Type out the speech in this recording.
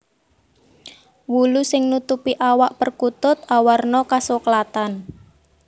Wulu sing nutupi awak perkutut awarna kasoklatan